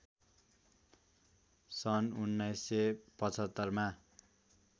सन् १९७५ मा